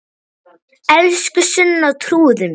Elsku Sunna, trúðu mér!